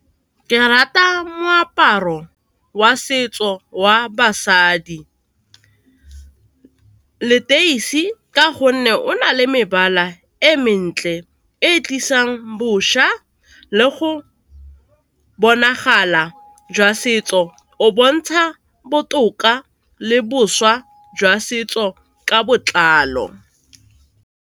Ke rata moaparo wa setso wa basadi, leteisi ka gonne o na le mebala e mentle e tlisang bošwa le go bonagala jwa setso, o bontsha botoka le boswa jwa setso ka botlalo.